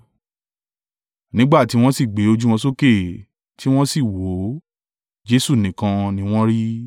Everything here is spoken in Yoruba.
Nígbà tí wọ́n sì gbé ojú wọn sókè, tí wọ́n sì wò ó, Jesu nìkan ni wọn rí.